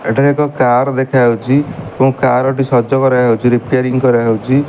ଏଠାରେ ଏକ କାର ଦେଖାଯାଉଛି ଏବଂ କାରଟି ସଜ କରାଯାଉଛି ରିପ୍ୟାରିଂ କରାଯାଉଛି।